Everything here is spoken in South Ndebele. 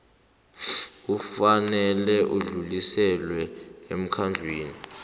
kufanele udluliselwe emkhandlwini